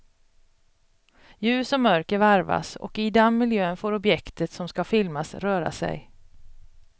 Ljus och mörker varvas och i den miljön får objektet som ska filmas röra sig.